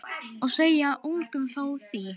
Og segja engum frá því.